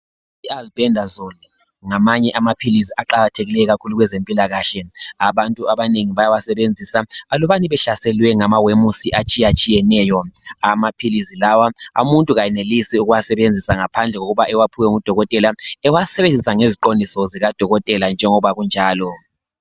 IAlbendazole ngamanye amaphilizi aqakathekile kakhulu kwezempilakahle abantu abanengi bayawasebenzisa alubana behlaselwe ngamawemusi atshiyatshiyeneyo. Amaphilizi lawa umuntu kayenelisi ukuwasebenzisa ngaphandle kokuba ewaphiwe ngudokotela ewasebenzisa ngeziqondiso zikadokotela njengoba kunjalo.